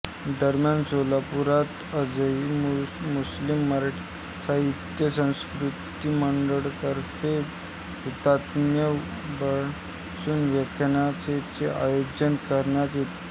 दरम्यान सोलापुरात आजही मुस्लिम मराठी साहित्य सांस्कृतिक मंडळातर्फे हुतात्मा कुर्बान हुसेन व्याख्यानमालेचं आयोजन करण्यात येतं